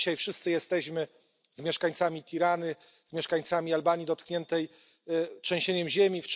Dzisiaj wszyscy jesteśmy z mieszkańcami Tirany, z mieszkańcami Albanii dotkniętej trzęsieniem ziemi.